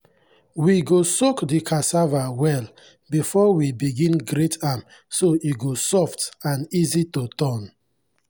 we go soak the cassava well before we begin grate am so e go soft and easy to turn.